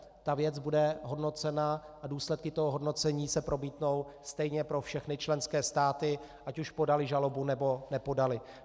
Ta věc bude hodnocena a důsledky toho hodnocení se promítnou stejně pro všechny členské státy, ať už podaly žalobu, nebo nepodaly.